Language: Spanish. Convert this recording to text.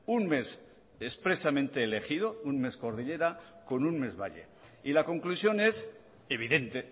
un mes expresamente elegido un mes cordillera con un mes valle y la conclusión es evidente